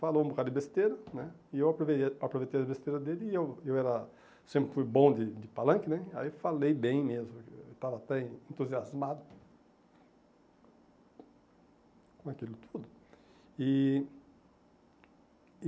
Falou um bocado de besteira, né, e eu aproveitei aproveitei a besteira dele e eu eu era sempre fui bom de de palanque, né, aí falei bem mesmo, estava até entusiasmado com aquilo tudo. E